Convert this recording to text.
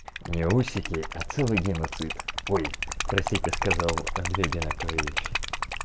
не усики а целый геноцид ой простите сказал андрей одинаковые вещи